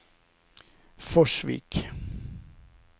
Forsvik